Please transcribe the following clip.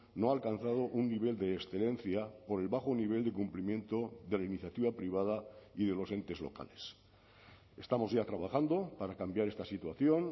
no ha alcanzado un nivel de excelencia por el bajo nivel de cumplimiento de la iniciativa privada y de los entes locales estamos ya trabajando para cambiar esta situación